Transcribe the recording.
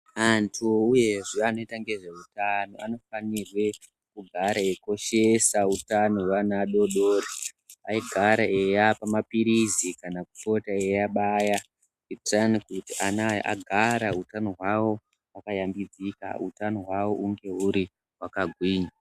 Anthu uyezve anoita ngezve uthano anofarwe kugare aikoshesa utano hwevana adodori aigara eyapa maphirizi kana kupota iyabaya kuitirani kuthi ana aya uthano hwawo hugare hwakayambidzikwa, uthano hwawo unge huri hwakagwinya.